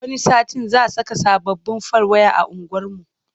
Wani satin za saka sababbin fal waya a unguwarmu.